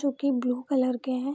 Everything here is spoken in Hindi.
जो की ब्लू कलर के है।